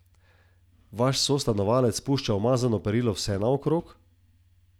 Vaš sostanovalec pušča umazano perilo vsenaokrog?